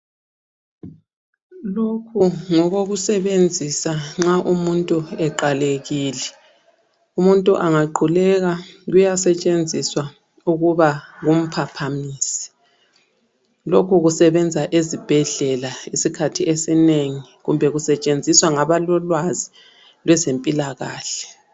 Lokhu ngokokusebenzisa nxa umuntu eqalekile. Umuntu angaquleka kuyasetshenziswa ukuba kumphaphamise, lokhu kusebenza ezibhedlela isikhathi esinengi kumbe kusetshenziswa ngabalolwazi lwezempilakahle.